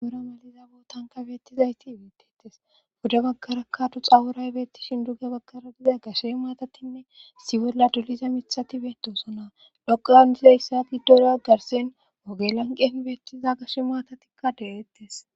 Aora maliza bootanka beettizayti beettetes buda bakara katu xaworay beettishin dugge bagkara diza gashe maatatinne siwolla duliza mithati beetoosona dhoqlan dize yssagi dooro agarsen wogelanqen beettiza gashe maatatikka de7ettes.